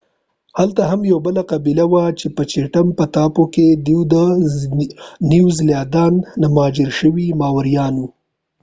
هلته هم یوه بله قبیله وه په چېټم په ټاپو کې دوي د نیوزیلاند نه مهاجر شوي ماوریان و